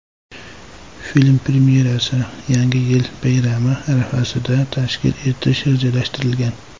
Film premyerasini Yangi yil bayrami arafasida tashkil etish rejalashtirilgan.